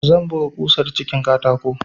Zan buga kusan cikin katako